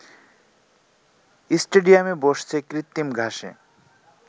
স্টেডিয়ামে বসছে কৃত্রিম ঘাসে